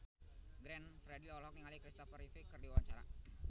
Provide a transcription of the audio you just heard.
Glenn Fredly olohok ningali Christopher Reeve keur diwawancara